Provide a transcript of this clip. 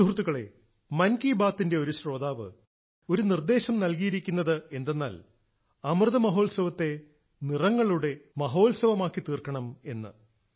സുഹൃത്തുക്കളേ മൻകീ ബാത്തിന്റെ ഒരു ശ്രോതാവ് ഒരു നിർദ്ദേശം നൽകിയിരിക്കുന്നതെന്തെന്നാൽ അമൃത മഹോത്സവത്തെ നിറങ്ങളുടെ മഹോത്സവമാക്കിത്തീർക്കണം എന്ന്